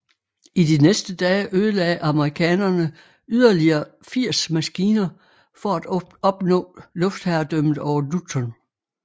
I de næste dage ødelagde amerikanerne yderligere 80 maskiner for at opnå luftherredømmet over Luzon